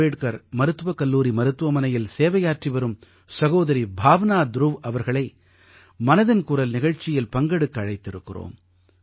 அம்பேட்கர் மருத்துவக் கல்லூரி மருத்துவமனையில் சேவையாற்றி வரும் சகோதரி பாவனா த்ருவ் அவர்களை மனதின் குரல் நிகழ்ச்சியில் பங்கெடுக்க அழைத்திருக்கிறோம்